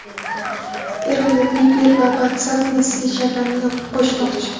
Eronda Viber va WhatsApp messenjerlarini yopib qo‘yishmoqchi.